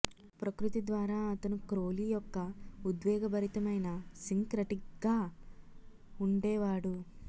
ప్రకృతి ద్వారా అతను క్రోలీ యొక్క ఉద్వేగభరితమైన సింక్రటిక్గా ఉండేవాడు